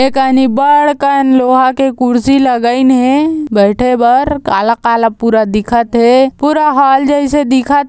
ए कनी बढ़ कन लोहा के कुर्सी लगइन हे बइठे बर काला-काला पूरा दिखत हे पूरा हॉल जइसे दिखत--